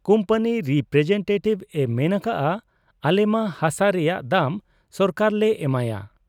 Company representative ᱮ ᱢᱮᱱ ᱟᱠᱟᱜ ᱟ ᱟᱞᱮᱢᱟ ᱦᱟᱥᱟ ᱨᱮᱭᱟᱝ ᱫᱟᱢ ᱥᱚᱨᱠᱟᱨᱞᱮ ᱮᱢᱟᱭᱟ ᱾